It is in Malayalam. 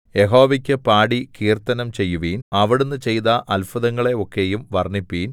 യഹോവയ്ക്കു പാടി കീർത്തനം ചെയ്യുവിൻ അവിടുന്ന് ചെയ്ത അത്ഭുതങ്ങളെ ഒക്കെയും വർണ്ണിപ്പിൻ